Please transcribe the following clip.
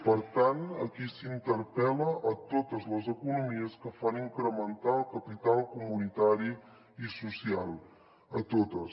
per tant aquí s’interpel·la totes les economies que fan incrementar el capital comunitari i social totes